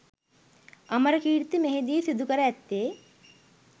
අමරකීර්ති මෙහි දී සිදු කර ඇත්තේ